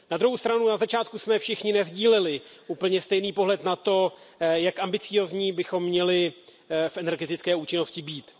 Na druhou stranu jsme na začátku všichni nesdíleli úplně stejný pohled na to, jak ambiciózní bychom měli v energetické účinnosti být.